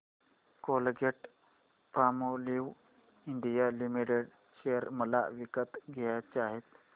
Colgate Palmolive India limited share मला विकत घ्यायचे आहेत